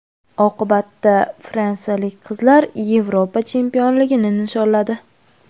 Oqibatda fransiyalik qizlar Yevropa chempionligini nishonladi.